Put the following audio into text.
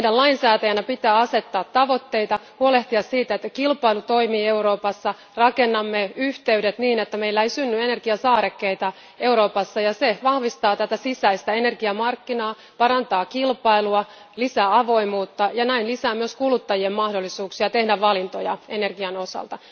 Meidän lainsäätäjänä pitää asettaa tavoitteita ja huolehtia siitä, että kilpailu toimii Euroopassa. Rakennamme yhteydet niin, ettei Eurooppaan synny energiasaarekkeita, ja tämä vahvistaa sisäisiä energiamarkkinoita, parantaa kilpailua, lisää avoimuutta ja lisää myös kuluttajien mahdollisuuksia tehdä valintoja energian osalta.